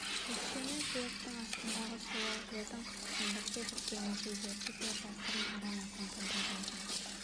өйткені жер астындағы сулар жердің қыртысын бірте-бірте мүжи береді де жасырын аран-апан пайда болады